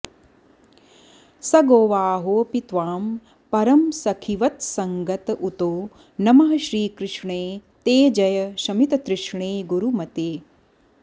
स गोवाहोऽपि त्वां परमसखिवत्सङ्गत उतो नमः श्रीकृष्णे ते जय शमिततृष्णे गुरुमते